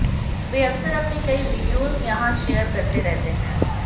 वे अक्सर अपनी कई वीडियोज यहां शेयर करते रहते हैं